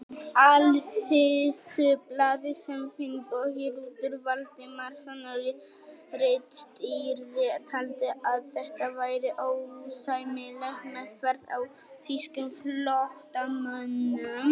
Alþýðublaðið, sem Finnbogi Rútur Valdimarsson ritstýrði, taldi að þetta væri ósæmileg meðferð á þýskum flóttamönnum.